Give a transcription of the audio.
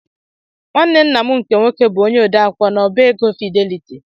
Nwanne ńnà mụ nke nwoke bụ ónyé odeakwụkwọ na ọbá égo Fidelity